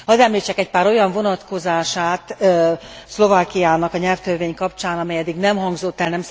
Hadd említsek egy pár olyan vonatkozását Szlovákiának a nyelvtörvény kapcsán, amely eddig nem hangzott el.